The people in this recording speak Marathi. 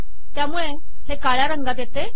त्यामुळे हे काळ्या रंगात येते